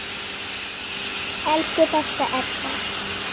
Elsku besta Edda.